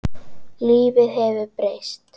Lífið hefur breyst.